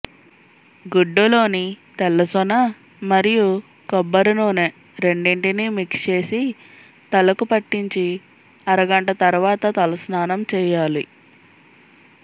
గుడులోని తెల్ల సొన మరియు కొబ్బరి నూనె రెండింటిని మిక్స్ చేసి తలకు పట్టించి అరగంట తర్వాత తలస్నానం చేయాలి